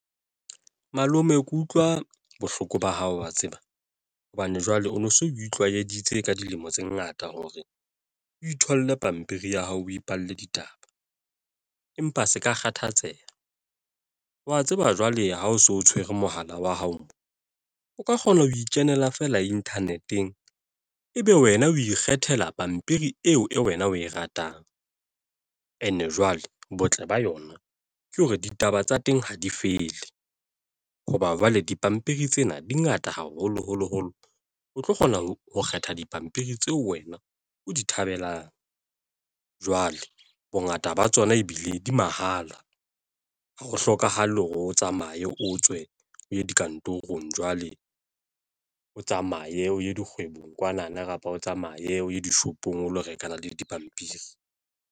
Malome ke utlwa bohloko ba hao wa tseba hobane jwale o no so o tlwaeditse ka dilemo tse ngata hore o itholle pampiri ya hao, o ipalle ditaba, empa se ka kgathatseha wa tseba jwale ha o so o tshwere mohala wa hao, o ka kgona ho ikenela feela internet-eng, ebe wena o ikgethela pampiri eo, eo wena o e ratang and e jwale, botle ba yona ke hore ditaba tsa teng ha di fele. Hoba jwale dipampiri tsena dingata haholoholoholo, o tlo kgona ho kgetha dipampiri tseo wena o di thabelang. Jwale bongata ba tsona ebile di mahala ha ho hlokahale hore o tsamaye o tswe o ye dikantorong, jwale o tsamaye o ye dikgwebong kwana na kapa o tsamaye o ye dishopong, o lo rekana le dipampiri.